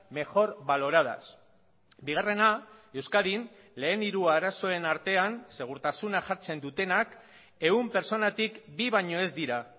mejor valoradas bigarrena euskadin lehen hiru arazoen artean segurtasuna jartzen dutenak ehun pertsonatik bi baino ez dira